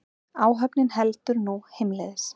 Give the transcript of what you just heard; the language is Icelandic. Áhöfnin heldur nú heimleiðis